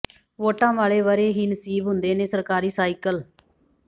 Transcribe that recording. ਵੋਟਾਂ ਵਾਲੇ ਵਰ੍ਹੇ ਹੀ ਨਸੀਬ ਹੁੰਦੇ ਨੇ ਸਰਕਾਰੀ ਸਾਈਕਲ